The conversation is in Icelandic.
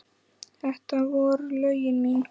Þetta voru lögin mín.